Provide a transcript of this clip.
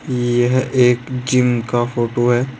यह एक जिम का फोटो है।